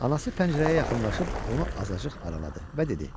Anası pəncərəyə yaxınlaşıb onu azacıq araladı və dedi: